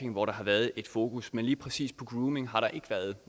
hvor der har været et fokus men lige præcis grooming har der